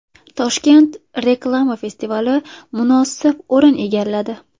Toshkent reklama festivali munosib o‘rin egalladi.